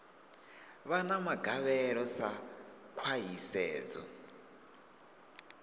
vha na magavhelo sa khwahisedzo